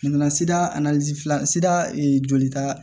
Nana sida fila sida jolita